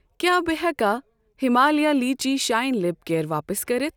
کیٛاہ بہٕ ہٮ۪کا Himalaya lychee shine lip care واپس کٔرتھ؟